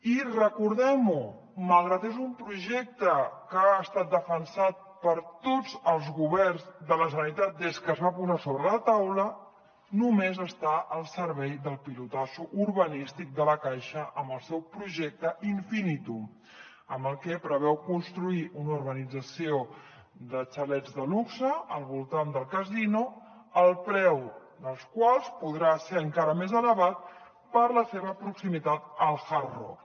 i recordem ho malgrat que és un projecte que ha estat defensat per tots els governs de la generalitat des que es va posar sobre la taula només està al servei del pelotazo urbanístic de la caixa amb el seu projecte infinitum amb el que preveu construir una urbanització de xalets de luxe al voltant del casino el preu dels quals podrà ser encara més elevat per la seva proximitat al hard rock